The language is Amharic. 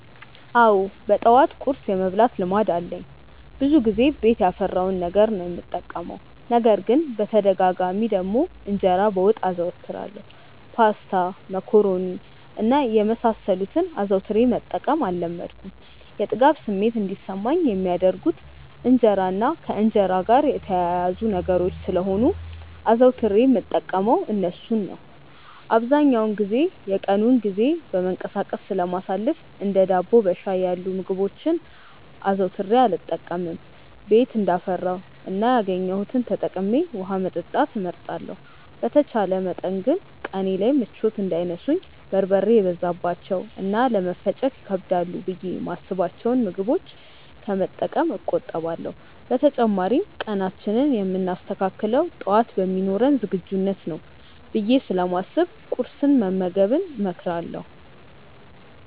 አዎ በጠዋት ቁርስ የመብላት ልማድ አለኝ። ብዙውን ጊዜ ቤት ያፈራውን ነገር ነው የምጠቀመው። ነገር ግን በተደጋጋሚ ደግሞ እንጀራ በወጥ አዘወትራለሁ። ፓስታ፣ መኮሮኒ እና የመሳሰሉትን አዘውትሬ መጠቀም አልለመድኩም። የጥጋብ ስሜት እንዲሰማኝ የሚያደርጉት እንጀራ እና ከእንጀራ ጋር የተያያዙ ነገሮች ስለሆኑ አዘውትሬ የምጠቀመው እርሱን ነው። አብዛኛውን የቀኑን ጊዜ በመንቀሳቀስ ስለማሳልፍ እንደ ዳቦ በሻይ ያሉ ምግቦችን አዘውትሬ አልጠቀምም። ቤት እንዳፈራው እና ያገኘሁትን ተጠቅሜ ውሀ መጠጣት እመርጣለሁ። በተቻለ መጠን ግን ቀኔ ላይ ምቾት እንዳይነሱኝ በርበሬ የበዛባቸውን እና ለመፈጨት ይከብዳሉ ብዬ የማስብቸውን ምግቦች ከመጠቀም እቆጠባለሁ። በተጨማሪም ቀናችንን የምናስተካክለው ጠዋት በሚኖረን ዝግጁነት ነው ብዬ ስለማስብ ቁርስ መመገብን እመክራለሁ።